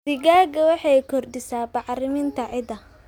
Digada waxay kordhisaa bacrinta ciidda.